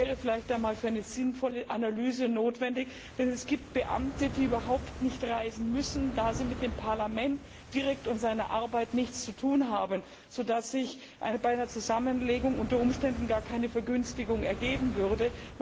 Dies wäre vielleicht einmal für eine sinnvolle Analyse notwendig, denn es gibt Beamte, die überhaupt nicht reisen müssen, da sie mit dem Parlament direkt und seiner Arbeit nichts zu tun haben, sodass sich bei einer Zusammenlegung unter Umständen gar keine Vergünstigung ergeben würde.